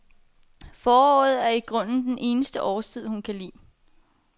Foråret er i grunden den eneste årstid, hun kan lide.